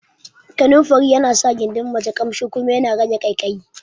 Kananfari yana sa gindin mace Ƙamshi kuma yana cire ƙaikayi